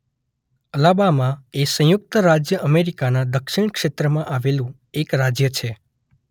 Alabama એ સંયુક્ત રાજ્ય અમેરિકાના દક્ષિણ ક્ષેત્રમાં આવેલું એક રાજ્ય છે.